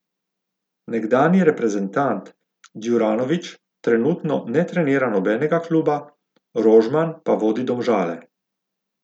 Nekdanji reprezentant Djuranović trenutno ne trenira nobenega kluba, Rožman pa vodi Domžale.